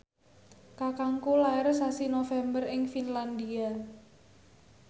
kakangku lair sasi November ing Finlandia